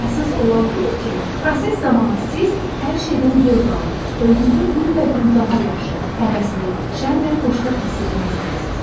Əsas olan budur ki, proses zamanı siz hər şeydən zövq alıb, özünüzü günbəgün daha yaxşı, həvəsli, şən və xoşbəxt hiss etmək istəyəsiz.